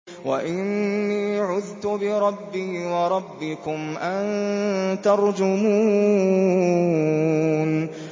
وَإِنِّي عُذْتُ بِرَبِّي وَرَبِّكُمْ أَن تَرْجُمُونِ